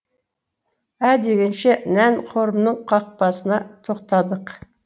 ә дегенше нән қорымның қақпасына тоқтадық